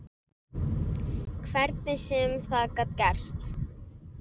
Hvernig sem það gat gerst.